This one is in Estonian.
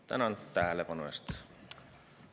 Tänan tähelepanu eest!